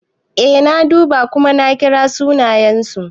Eh na duba kuma na kira sunayensu.